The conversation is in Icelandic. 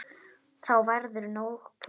Þá verður nóg pláss.